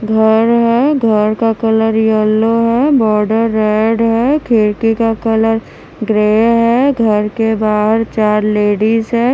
घर है घर का कलर येल्लो है बॉर्डर रेड है खिड़की का कलर ग्रे है घर के बाहर चार लेडीज है।